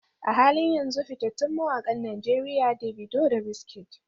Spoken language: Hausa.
A halin yanzu, fitattun mawakan Najeriya Davido da Wizkid.